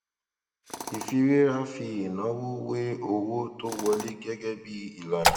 ìfiwéra fi ìnáwó wé owó tó wọlé gẹgẹ bí ìlànà